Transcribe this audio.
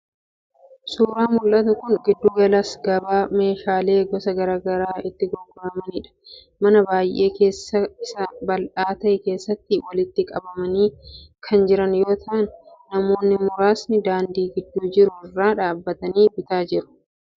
Suuraan mul'atu kun giddu gala gabaa meeshaaleen gosa garaa garaa itti gurguramanidha. Mana baay'ee keessi isaa bal'aa ta'e keessatti walitti qabamanii kan jiran yoo ta'an, namoonni muraasnis daandii gidduu jiru irra dhaabatii bitaa jiru.